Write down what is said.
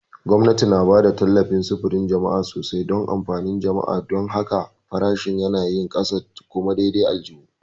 Gwamnati na ba da tallafin sufurin jama'a sosai don amfanin jama'a; don haka, farashin yanayin ƙasa kuma daidai aljihu.